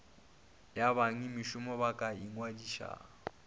ya bengmešomo e ka ingwadiša